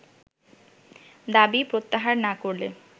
দাবি প্রত্যাহার না করলে